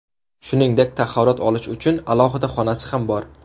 Shuningdek, tahorat olish uchun alohida xonasi ham bor.